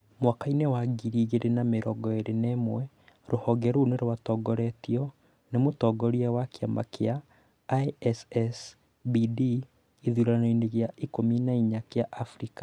Mwaka-inĩ wa 2021, rũhonge rũu rwatongoretio nĩ mũtongoria wa kĩama gĩa ISSBD gĩthuranoinĩ gĩa 14 kĩa Abirika